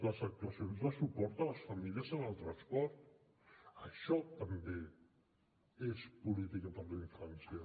les actuacions de suport a les famílies amb el transport això també és política per a la infància